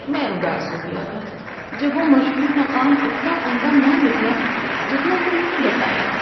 ‏میں اداس ہو گیا تھا جب وہ مشہور مقام اتنا عمدہ نہ نکلا جتنا کہ انہوں نے بتایا تھا‏۔